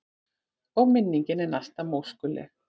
Og minningin er næsta móskuleg.